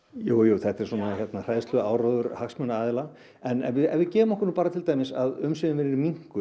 þetta er svona hræðsluáróður hagsmunaaðila en ef við ef við gefum okkur til dæmis að umsvifin verði minnkuð